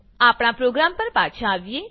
આપણા પ્રોગ્રામ પર પાછા આવીએ